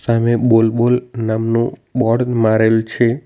સામે બોલ-બોલ નામનું બોર્ડ મારેલ છે.